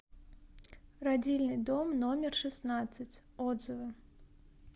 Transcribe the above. родильный дом номер шестнадцать отзывы